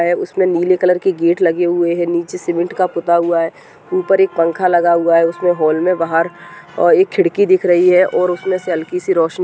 है उसमें नीले कलर के गेट लगे हुए हैं नीचे सीमेंट का पुता हुआ है ऊपर एक पंखा लगा हुआ है उसमें हॉल में बाहर अ एक खिड़की दिख रही है और उसमें से हल्की सी रोशनी --